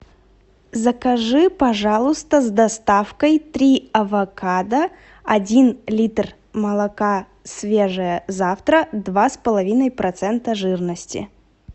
закажи пожалуйста с доставкой три авокадо один литр молока свежее завтра два с половиной процента жирности